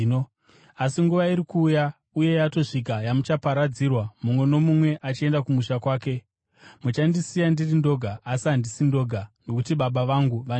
Asi nguva iri kuuya, uye yatosvika, yamuchaparadzirwa, mumwe nomumwe achienda kumusha kwake. Muchandisiya ndiri ndoga. Asi handisi ndoga, nokuti Baba vangu vaneni.